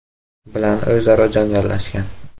bilan o‘zaro janjallashgan.